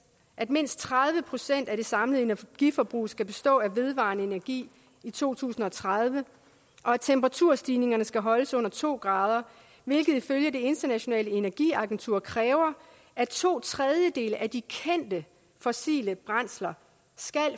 at mindst tredive procent af det samlede energiforbrug skal bestå af vedvarende energi i to tusind og tredive og at temperaturstigningerne skal holdes under to grader hvilket ifølge det internationale energiagentur kræver at to tredjedele af de kendte fossile brændsler skal